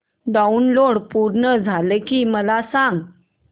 download पूर्ण झालं की मला सांग